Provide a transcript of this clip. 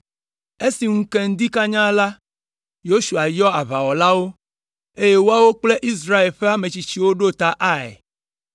Esi ŋu ke ŋdi kanya la, Yosua yɔ aʋawɔlawo, eye woawo kple Israel ƒe ametsitsiwo ɖo ta Ai.